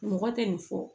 Mɔgɔ tɛ nin fɔ